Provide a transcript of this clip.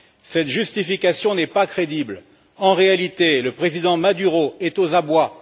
Cette justification n'est pas crédible. En réalité, le président Maduro est aux abois.